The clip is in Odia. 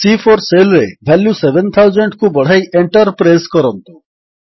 ସି4 ସେଲ୍ ରେ ଭାଲ୍ୟୁ 7000କୁ ବଢ଼ାଇ Enter ପ୍ରେସ୍ କରନ୍ତୁ